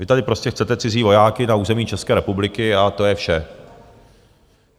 Vy tady prostě chcete cizí vojáky na území České republiky a to je vše.